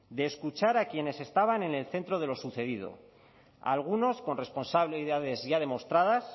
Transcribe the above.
de escuchar a quienes estaban en el centro de lo sucedido a algunos con responsabilidades ya demostradas